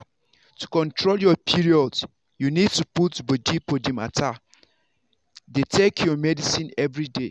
to control your period you need to put body for the matter. dey take your medicine everyday.